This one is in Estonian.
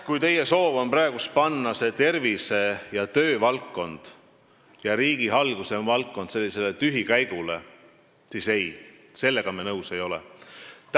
Kui teie soov on panna tervise- ja tööministri valdkond ning riigihalduse ministri valdkond tühikäigule, siis ei, sellega me nõus ei ole.